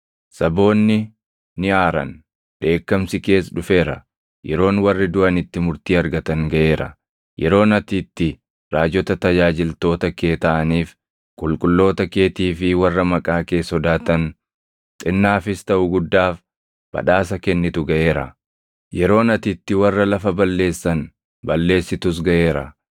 Saboonni ni aaran; dheekkamsi kees dhufeera. Yeroon warri duʼan itti murtii argatan gaʼeera; yeroon ati itti raajota tajaajiltoota kee taʼaniif, qulqulloota keetii fi warra maqaa kee sodaatan xinnaafis taʼu guddaaf badhaasa kennitu gaʼeera; yeroon ati itti warra lafa balleessan balleessitus gaʼeera.”